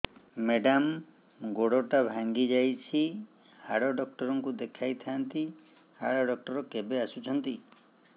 madam ଗୋଡ ଟା ଭାଙ୍ଗି ଯାଇଛି ହାଡ ଡକ୍ଟର ଙ୍କୁ ଦେଖାଇ ଥାଆନ୍ତି ହାଡ ଡକ୍ଟର କେବେ ଆସୁଛନ୍ତି